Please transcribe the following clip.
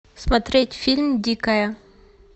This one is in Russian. смотреть фильм дикая